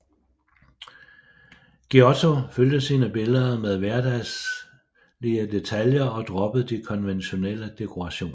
Giotto fyldte sine billeder med hverdagslige detaljer og droppede de konventionelle dekorationer